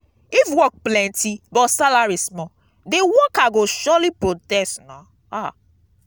if work plenty but salary small de worker go surely protest.